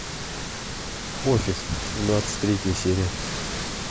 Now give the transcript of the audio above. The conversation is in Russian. офис двадцать третья серия